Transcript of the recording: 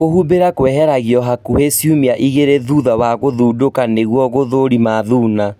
Kũhumbĩra kweheragio hakuhĩ ciumia igĩrĩ thutha wa gũthundũka nĩguo gũthũrima thuna